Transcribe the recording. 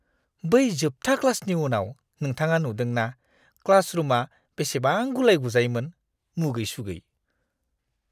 बै जोबथा क्लासनि उनाव नोंथाङा नुदों ना क्लास रुमआ बेसेबां गुलाय-गुजायमोन? मुगै-सुगै।